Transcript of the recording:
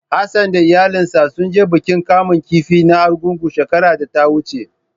Hassan da iyalansa sun je bikin kamun kifi na Argungu shekarar da ta wuce.